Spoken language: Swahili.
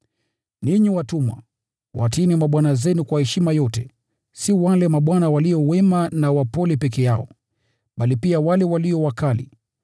Ninyi watumwa, watiini mabwana zenu kwa heshima yote, si wale mabwana walio wema na wapole peke yao, bali pia wale walio wakali.